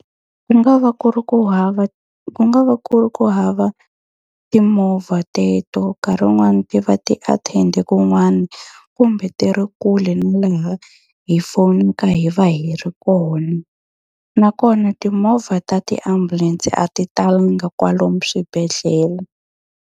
Ku nga va ku ri ku hava ku nga va ku ri ku hava timovha teto nkarhi wun'wani ti va ti-attend-e kun'wana, kumbe ti ri kule no laha hi fowunaka hi va hi ri kona. Nakona timovha ta tiambulense a ti talanga kwalomu swibedhlele.